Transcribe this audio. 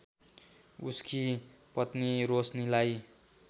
उसकी पत्नी रोशनीलाई